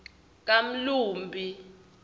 kamlumbi